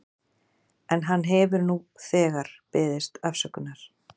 En hann hefur nú þegar beðist afsökunar.